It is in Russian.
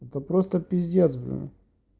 это просто пиздец блин